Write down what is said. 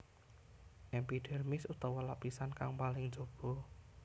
Epidhérmis utawa lapisan kang paling jaba